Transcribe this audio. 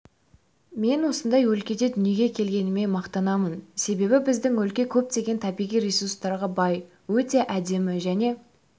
мен осындай өлкеде дүниеге келгеніме мақтанамын себебі біздің өлке көптеген табиғи ресурстарға бай өте әдемі және